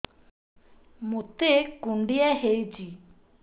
ମୋତେ କୁଣ୍ଡିଆ ହେଇଚି